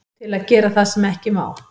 Til að gera það sem ekki má.